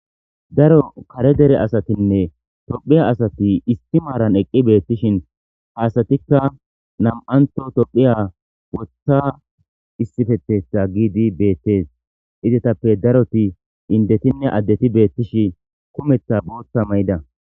Daro kare dere asatinne tophphiya asati isti maaran eqqi beettishin ha asatikka nam'anththo tophiya woththa issippetetha giidi beettees. Izetappe daroti indetinne addeti beettishi kumetha booththa mayida.